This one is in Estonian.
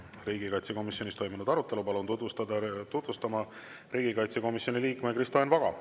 Riigikaitsekomisjonis toimunud arutelu palun tutvustama riigikaitsekomisjoni liikme Kristo Enn Vaga.